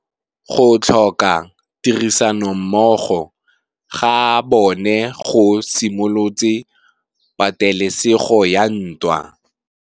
Go tlhoka tirsanommogo ga bone go simolotse patêlêsêgô ya ntwa.